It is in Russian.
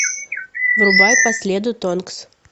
врубай по следу тонкс